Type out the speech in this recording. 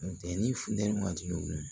Funteni funteni waati